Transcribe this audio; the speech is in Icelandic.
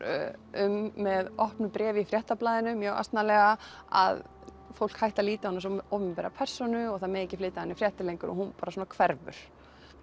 um með opnu bréfi í Fréttablaðinu mjög asnalega að fólk hætti að líta á hana sem opinbera persónu og það megi ekki flytja af henni fréttir lengur hún bara hverfur